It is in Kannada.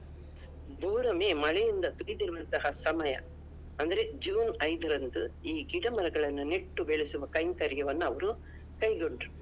ಭೂರಮೆ ಮಳೆಯಿಂದ ತುಳಿದಿರುವಂತಹ ಸಮಯ ಅಂದ್ರೆ June ಐದರಂದು ಈ ಗಿಡ ಮರಗಳನ್ನು ನೆಟ್ಟು ಬೆಳೆಸುವ ಕೈಂಕರ್ಯವನ್ನ ಅವ್ರು ಕೈಗೊಂಡ್ರು.